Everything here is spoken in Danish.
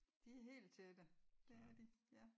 De er helt tætte det er de ja